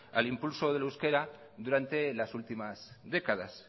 al impulso del euskera durante las últimas décadas